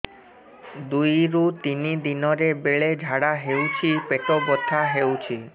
ଦୁଇରୁ ତିନି ଦିନରେ ବେଳେ ଝାଡ଼ା ହେଉଛି ପେଟ ବଥା ହେଉଛି